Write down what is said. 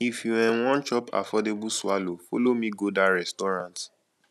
if you um wan chop affordable swallow folo me go dat restaurant